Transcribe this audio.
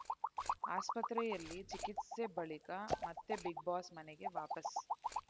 ಆಸ್ಪತ್ರೆಯಲ್ಲಿ ಚಿಕಿತ್ಸೆ ಬಳಿಕ ಮತ್ತೆ ಬಿಗ್‌ಬಾಸ್‌ ಮನೆಗೆ ವಾಪಸ್‌